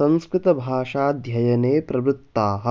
संस्कृतभाषाध्ययने प्रवृत्ताः